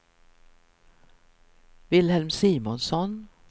Wilhelm Simonsson